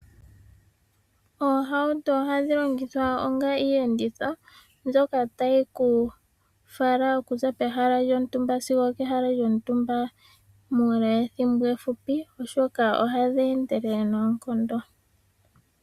Oohauto ohadhi longithwa onga iiyenditho mbyoka tayi ku fala okuza pehala lyontumba sigo opehala lyontumba muule wethimbo efupi ,oshoka ohadhi endelele noonkondo.